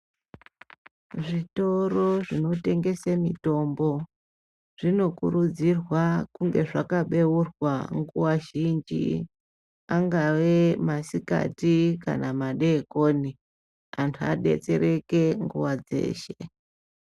Zvitoro zvinotengese mitombo zvinokurudzirwa kunge zvakabeurwa nguva zhinji angave masikati kana madekoni anhu abetsereke nguva dzeshe.